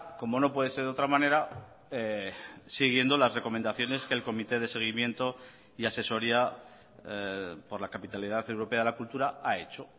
como no puede ser de otra manera siguiendo las recomendaciones que el comité de seguimiento y asesoría por la capitalidad europea de la cultura ha hecho